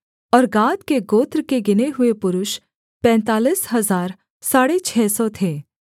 और गाद के गोत्र के गिने हुए पुरुष पैंतालीस हजार साढ़े छः सौ थे